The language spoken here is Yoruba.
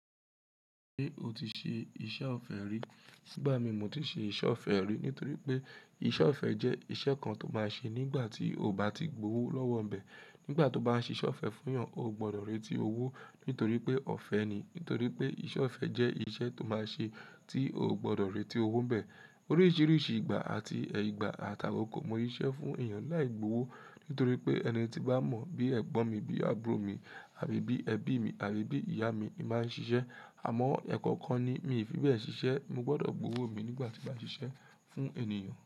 Ṣé o ti ṣe iṣẹ́ ọ̀fẹ́ rí? Sígbà mí mo ti ṣe iṣẹ́ ọ̀fẹ́ rí. Nítorí pé iṣẹ́ ọ̀fẹ́ jẹ́ iṣẹ́ kan tó máa ṣe nígbà tí o bá ti gbówó lọ́wọ́ ńbẹ. Nígbà tó bá ṣe iṣẹ́ ọ̀fẹ́ fún ènìyàn, o gbọdọ̀ retí owó nítorí pé ọ̀fẹ́ ni. Nítorí pé iṣẹ́ ọ̀fẹ́ jẹ́ iṣẹ́ tó máa ṣe tí o gbọdọ̀ retí owó ńbẹ. Oríṣiríṣi ìgbà àti ìgbà àtàkò kò mọ iṣẹ́ fún ènìyàn láì gbówó. Nítorí pé ẹni tí bá mọ̀ bí ẹ̀gbọ́n mi bí àbúrò mi àbí bí ẹbí mi àbí bí ìyá mi máa ń ṣiṣẹ́. Àmọ́ ẹ̀kọ̀kan ni mí ìfíwẹ́ ṣiṣẹ́. Mo gbọdọ̀ gbówó mi nígbà tí mo ṣiṣẹ́ fún ènìyàn.